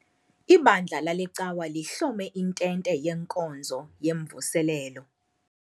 Ibandla lale cawa lihlome intente yenkonzo yemvuselelo.